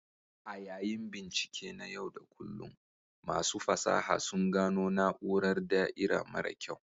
A yayin bincike na yau da kullun, masu fasaha sun gano na'urar da'ira mara kyau.